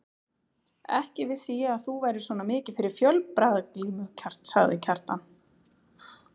Ekki vissi ég að þú værir svona mikið fyrir fjölbragðaglímu, sagði Kjartan.